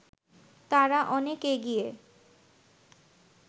তারা অনেক এগিয়ে